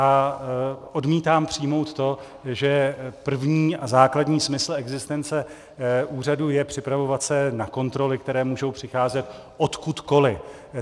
A odmítám přijmout to, že první a základní smysl existence úřadu je připravovat se na kontroly, které můžou přicházet odkudkoli.